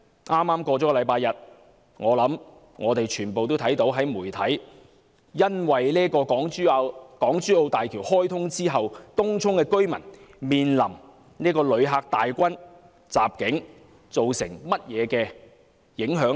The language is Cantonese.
在剛過去的星期日，相信大家也從媒體看到，在港珠澳大橋開通後，東涌居民在"旅客大軍"襲境下如何受影響。